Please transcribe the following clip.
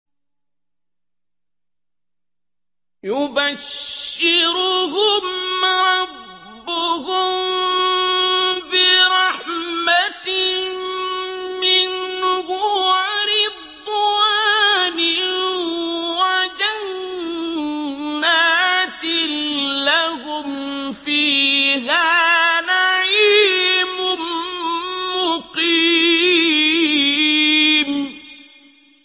يُبَشِّرُهُمْ رَبُّهُم بِرَحْمَةٍ مِّنْهُ وَرِضْوَانٍ وَجَنَّاتٍ لَّهُمْ فِيهَا نَعِيمٌ مُّقِيمٌ